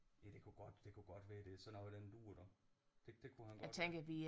Ja det kunne godt det kunne godt være det er sådan noget i den dur du det det kunne han godt